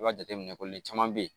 I b'a jateminɛ ko le caman be yen